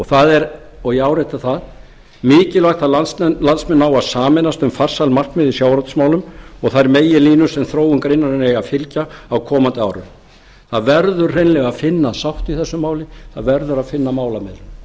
það er og ég árétta það mikilvægt að landsmenn nái að sameinast um farsæl markmið í sjávarútvegsmálum og þær meginlínur sem þróun greinarinnar eiga að fylgja á komandi árum það verður hreinlega að finna sátt í þessu máli það verður að finna